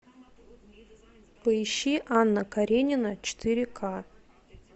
поищи анна каренина четыре к